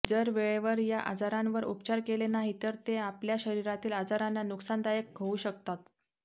जर वेळेवर या आजारांवर उपचार केले नाही तर ते आपल्या शरीरातील आजारांना नुकसानदायक होऊ शकतात